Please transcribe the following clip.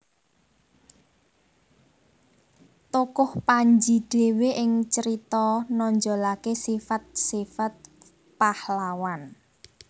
Tokoh Panji dhewe ing carita nonjolaké sifat sifat pahlawan